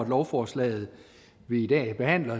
lovforslaget vi i dag behandler